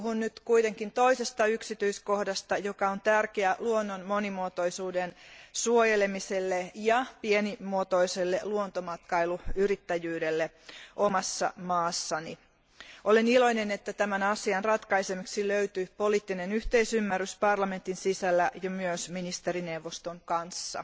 Puhun nyt kuitenkin toisesta yksityiskohdasta, joka on tärkeä luonnon monimuotoisuuden suojelemisen ja pienimuotoisen luontomatkailuyrittäjyyden kannalta omassa maassani. Olen iloinen, että tämän asian ratkaisemiseksi löytyi poliittinen yhteisymmärrys parlamentin sisällä ja myös ministerineuvoston kanssa.